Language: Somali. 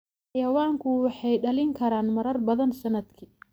Xayawaanku waxay dhalin karaan marar badan sannadkii.